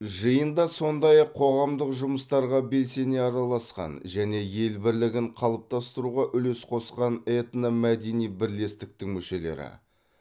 жиында сондай ақ қоғамдық жұмыстарға белсене араласқан және ел бірлігін қалыптастыруға үлес қосқан этномәдени бірлестіктің мүшелері